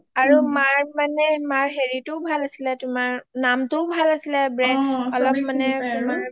আৰু আৰু মাৰ মানে মাৰ হেৰি টো ভাল আছিল তোমাৰ নামটোও ভাল আছিলে অলপ মানে